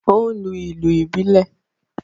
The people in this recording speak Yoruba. O n lu ìlú ibilẹ